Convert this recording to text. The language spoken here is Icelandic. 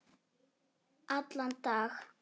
Allan dag?